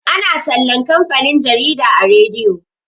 ana tallan kamfanin jarida a rediyo